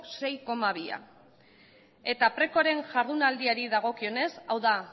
sei koma bi eta precoren jardunaldiari dagokionez hau da